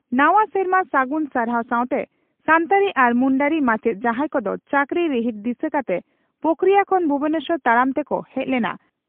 ᱱᱟᱣᱟ ᱥᱮᱨᱢᱟ ᱥᱟᱹᱜᱩᱱ ᱥᱟᱨᱦᱟᱣ ᱥᱟᱣᱛᱮ ᱥᱟᱱᱛᱟᱲᱤ ᱟᱨ ᱢᱩᱱᱰᱟᱹᱨᱤ ᱢᱟᱪᱮᱛ ᱡᱟᱦᱟᱸᱭ ᱠᱚᱫᱚ ᱪᱟᱹᱠᱨᱤ ᱨᱤᱦᱤᱴ ᱫᱤᱥᱟᱹ ᱠᱟᱛᱮ ᱯᱳᱠᱷᱚᱨᱤᱭᱟᱹ ᱠᱷᱚᱱ ᱵᱷᱩᱵᱚᱱᱮᱥᱚᱨ ᱛᱟᱲᱟᱢ ᱛᱮᱠᱚ ᱦᱮᱡ ᱞᱮᱱᱟ